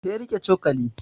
He riƙe cokali